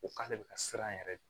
Ko k'ale bɛ ka siran yɛrɛ de